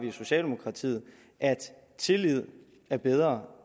i socialdemokratiet at tillid er bedre